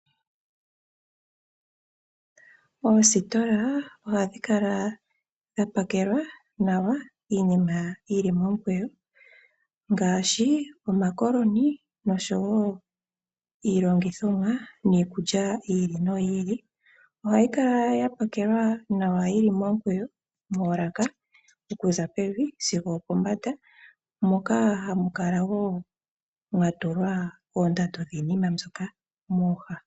Oositola ohadhi kala dha pakelwa nawa iinima yi li momukweyo ngaashi omakoloni noshowo iilongithomwa niikulya yi ili noyi ili. Ohayi kala ya pakelwa nawa yi li momikweyo moolaka okuza pevi sigo opombanda, moka hamu kala wo mwa tulwa oondando dhimwe dhiinima mbyoka mooha.